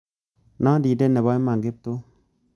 Nandindet nebo iman kiptum